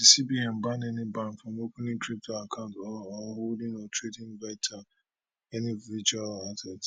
cbn ban any bank from opening crypto accounts or or holding or trading any virtual asset